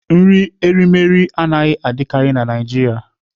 Nri erimeri anaghị adịkarị na Naịjirịa.